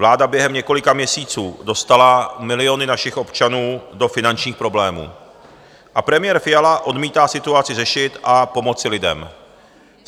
Vláda během několika měsíců dostala miliony našich občanů do finančních problémů a premiér Fiala odmítá situaci řešit a pomoci lidem.